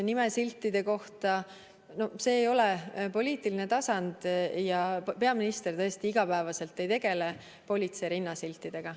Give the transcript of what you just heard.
Nimesiltide kohta – see ei ole poliitiline tasand ja peaminister tõesti iga päev ei tegele politsei rinnasiltidega.